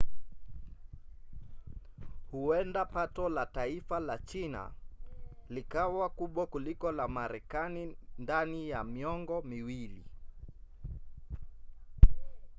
huenda pato la taifa la china likawa kubwa kuliko la marekani ndani ya miongo miwili